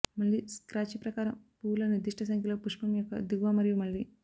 మళ్ళీ స్క్రాచ్ ప్రకారం పువ్వుల నిర్దిష్ట సంఖ్యలో పుష్పం యొక్క దిగువ మరియు మళ్లీ